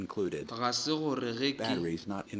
ga se gore ge ke